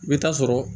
I bɛ taa sɔrɔ